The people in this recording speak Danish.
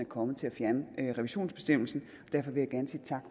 kommet til at fjerne revisionsbestemmelsen